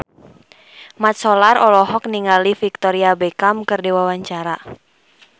Mat Solar olohok ningali Victoria Beckham keur diwawancara